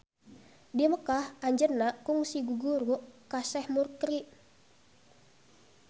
Di Mekah anjeunna kungsi guguru ka Seh Mukri.